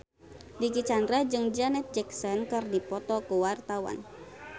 Dicky Chandra jeung Janet Jackson keur dipoto ku wartawan